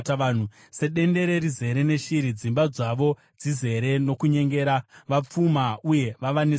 Sedendere rizere neshiri, dzimba dzavo dzizere nokunyengera; vapfuma uye vava nesimba,